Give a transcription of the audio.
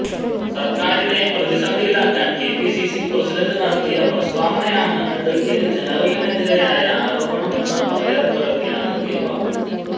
സർക്കാരിനെ പ്രതിസന്ധിയിലാക്കാൻ കെപിസിസി പ്രസിഡന്റ് നടത്തിയ പ്രസ്താവനയാണ് അഡ്വക്കേറ്റ് ജനറലിനെതിരായ ആരോപണമെന്ന് പറയാതെ പറയുകയാണ് കെ ബാബു